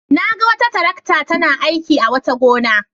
Na ga wata tarakta tana aiki a wata gona.